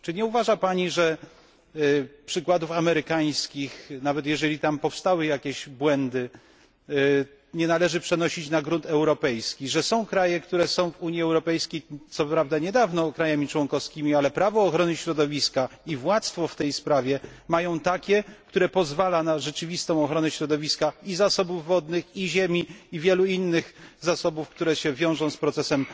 Czy nie uważa Pani, że przykładów amerykańskich nawet jeżeli tam powstały jakieś błędy nie należy przenosić na grunt europejski, że są kraje w Unii Europejskiej, które są co prawda od niedawna jej państwami członkowskimi, ale prawo ochrony środowiska i władztwo w tej sprawie mają takie, że pozwala to na rzeczywistą ochronę środowiska i zasobów wodnych, i ziemi, i wielu innych zasobów, które się wiążą z procesem